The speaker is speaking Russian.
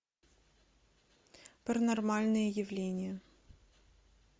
паранормальные явления